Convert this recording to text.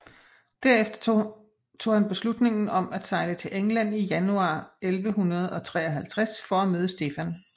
Derefter tog han beslutningen om at sejle til England i januar 1153 for at møde Stefan